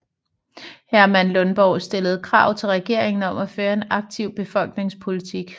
Herman Lundborg stillede krav til regeringen om at føre en aktiv befolkningspolitik